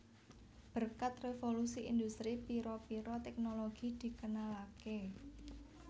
Berkat revolusi industri pira pira teknologi dikenalaké